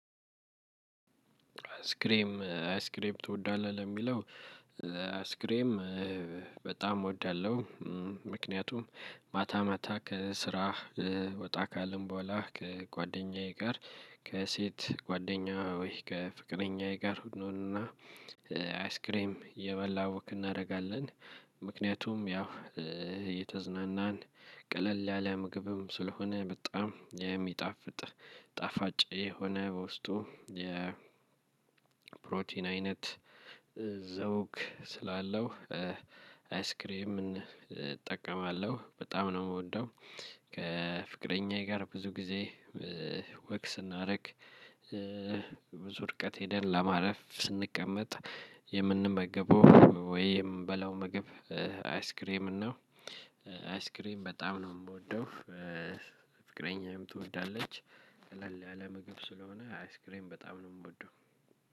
አይስክሬም አይስክሬም ትወዳለህ ለሚለው አይስክሬም በጣም እወዳለሁ። ምክንያቱም ማታ ማታ ከስራህ ወጣ ካለን በኋላ ከጓደኛዬ ጋር ከሴት ጓደኛ ወይ ከፍቅረኛዬ ጋር እንሆንና አይስክሬም የበላው ወክ እናደርጋለን። ምክንያቱም ያው እየተዝናናን ቀለል ያለ ምግብም ስለሆነ በጣም የሚጣፍጥ ጣፋጫ የሆነ በውስጡ የ ፕሮቲን አይነት ዘውግ ስላለው አይስክሬምን እጠቀማለሁ በጣም ነው እምወደው። ከፍቅረኛዬ ጋር ብዙ ጊዜ ወክ እናድርግ። ብዙ ርቀት ሄደን ለማረፍ ስንቀመጥ የምንመገበው ወይ የምንበላው ምግብ አይስክሬም ነው። አይስክሬም በጣም ነው የምወደው። ፍቅረኛየም ትወዳለች። ቀለል አለ ምግብ ስለሆነ አይስክሬም በጣም ነው እምወደው።